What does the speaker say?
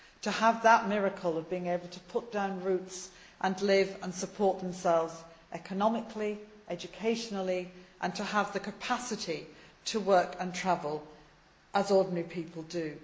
to have that miracle of being able to put down roots and live and support themselves economically and educationally and to have the capacity to work and travel as ordinary people do.